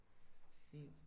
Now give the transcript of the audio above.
Hvor fint